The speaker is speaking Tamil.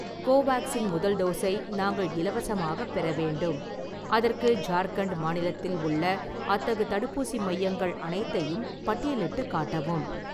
கோவேக்சின் முதல் டோஸை நாங்கள் இலவசமாகப் பெற வேண்டும், அதற்கு ஜார்க்கண்ட் மாநிலத்தில் உள்ள அத்தகு தடுப்பூசி மையங்கள் அனைத்தையும் பட்டியலிட்டுக் காட்டவும்